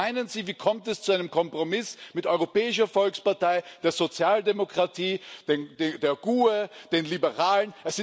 Was meinen Sie Wie kommt es zu einem Kompromiss mit Europäischer Volkspartei, der Sozialdemokratie, der GUE, den Liberalen?